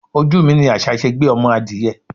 Ojú mi ní àṣà ṣe gbé ọmọ adìẹ.